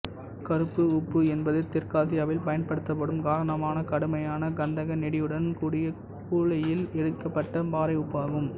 கருப்பு உப்பு என்பது தெற்காசியாவில் பயன்படுத்தப்படும் காரமான கடுமையான கந்தக நெடியுடன் கூடிய சூளையில் எரிக்கப்பட்ட பாறை உப்பு ஆகும்